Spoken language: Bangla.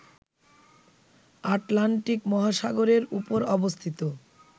আটলান্টিক মহাসাগরের ওপর অবস্থিত